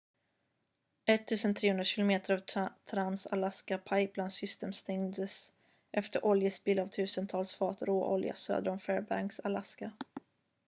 1 300 km av trans-alaska pipeline system stängdes efter oljespill av tusentals fat råolja söder om fairbanks alaska